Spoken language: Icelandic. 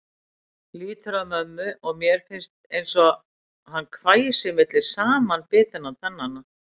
Lýtur að mömmu og mér finnst einsog hann hvæsi milli samanbitinna tannanna.